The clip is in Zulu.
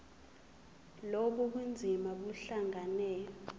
lobu bunzima buhlangane